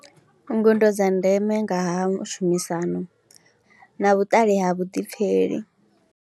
Ngudo dza ndeme nga ha u shumisana na vhuṱali ha vhuḓipfheli.